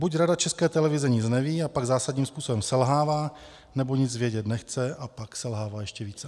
Buď Rada České televize nic neví, a pak zásadním způsobem selhává, nebo nic vědět nechce, a pak selhává ještě více.